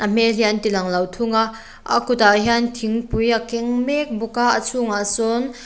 hmel hi an tilang lo thung a a kutah hian thingpui a keng mek bawka a chhungah sawn--